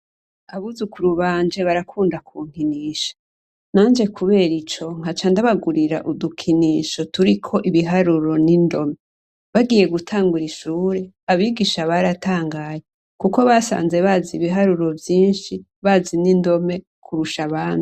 Abuzukuru banje barakunda ku nkinisha, nanje kuber' ico nkaca ndabagurir' udukinisho turik' ibiharuro n' indome, bagiye gutangur' ishure, abigisha baratangaye kuko basanze baz' ibiharuro vyinshi, bazi n' indome kurush' abandi.